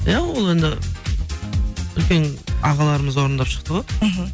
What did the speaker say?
иә ол енді үлкен ағаларымыз орындап шықты ғой мхм